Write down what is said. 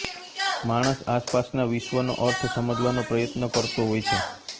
માણસ આસપાસના વિશ્વનો અર્થ સમજવાનો પ્રયત્ન કરતો હોય છે